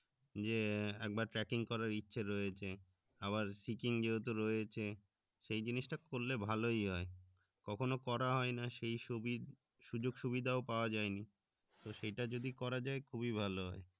যে একবার tracking করার ইচ্ছে রয়েছে আবার sky king যেহেতু রয়েছে সেই জিনিসটা করলে ভালোই হয় কখনো করা হয়না সেই সুবিধা সুযোগ সুবিধা পাওয়া যায়নি তো সেটা যদি করা যায় খুবই ভালো হয়